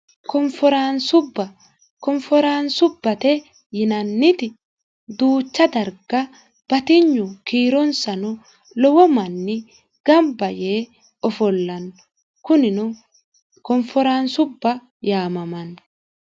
konforaansubba konforaansubbate yinanniti duucha darga batinyu kiironsano lowo manni gamba yee ofollanno kunino konforaansubba yaamamanni